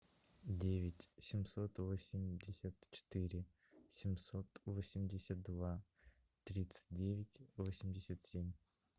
девять семьсот восемьдесят четыре семьсот восемьдесят два тридцать девять восемьдесят семь